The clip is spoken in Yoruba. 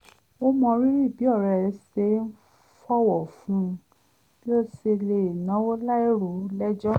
ó mọrírì bí ọ̀rẹ́ rẹ̀ ṣe fọ̀wọ̀ fún bí ó ṣe lè náwọ́ láì rò ó lẹ́jọ́